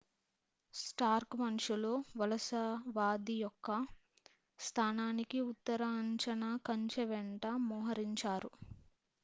Stark మనుషులు వలసవాది యొక్క స్థానానికి ఉత్తర అంచున కంచె వెంట మోహరించారు